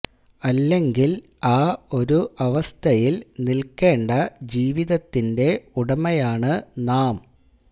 അല്ലെങ്കിൽ ആ ഒരു അവസ്ഥയിൽ നില്ക്കേണ്ട ജീവിതത്തിന്റെ ഉടമയാണ് നാം